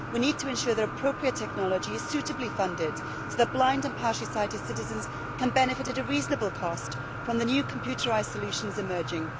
We need to ensure that appropriate technology is suitably funded so that blind and partially sighted citizens can benefit at a reasonable cost from the new computerised solutions emerging.